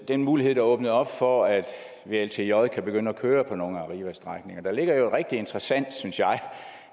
den mulighed der åbner op for at vltj kan begynde at køre på nogle af arrivas strækninger der ligger jo et rigtig interessant synes jeg